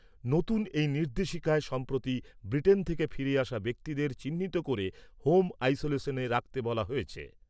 নতুন এই নির্দেশিকায় সম্প্রতি ব্রিটেন থেকে ফিরে আসা ব্যক্তিদের চিহ্নিত করে হোম আইসোলেশনে রাখতে বলা হয়েছে।